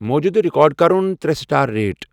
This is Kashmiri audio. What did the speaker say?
موجودٕ ریکارڈ کَرُن ترے سٹار ریٹ ۔